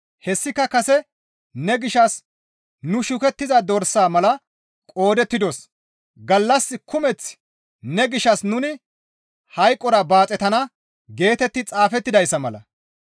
Hessika kase, «Ne gishshas nu shukettiza dorsa mala qoodettidos; gallas kumeth ne gishshas nuni hayqora baaxetana» geetetti xaafettidayssa mala.